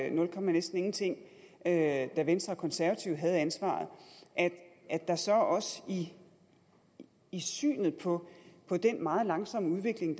og nul komma næsten ingenting da venstre og konservative havde ansvaret og at der så også i synet på på den meget langsomme udvikling